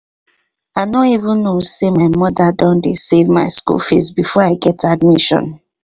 i no even know say my mother don dey save my school fees before i get admission